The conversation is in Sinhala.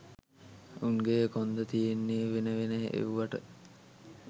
උන්ගෙ කොන්ද තියෙන්නේ වෙන වෙන එව්වට